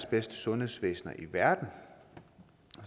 bedste sundhedsvæsener i verden